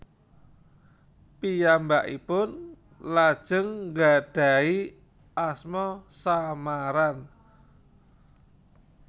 Piyambakipun lajeng nggadahi asma samaran